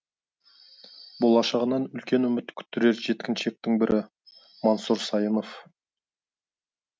болашағынан үлкен үміт күттірер жеткіншектің бірі мансұр сайынов